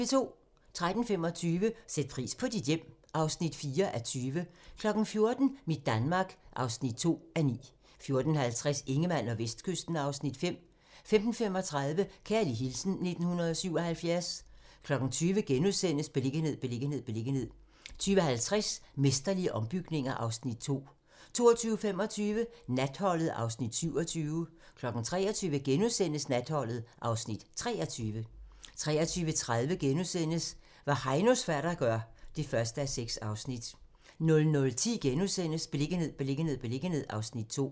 13:25: Sæt pris på dit hjem (4:20) 14:00: Mit Danmark (5:9) 14:50: Ingemann og Vestkysten (Afs. 5) 15:35: Kærlig hilsen 1977 20:00: Beliggenhed, beliggenhed, beliggenhed * 20:50: Mesterlige ombygninger (Afs. 2) 22:25: Natholdet (Afs. 27) 23:00: Natholdet (Afs. 23)* 23:30: Hvad Heinos fatter gør (1:6)* 00:10: Beliggenhed, beliggenhed, beliggenhed (Afs. 2)*